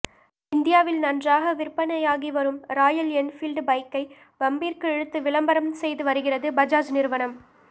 இந்தியாவில் நன்றாக விற்பனையாகி வரும் ராயல் என்பீல்டு பைக்கை வம்பிற்கு இழுத்து விளம்பரம் செய்து வருகிறது பஜாஜ் நிறுவனம்